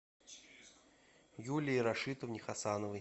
юлии рашитовне хасановой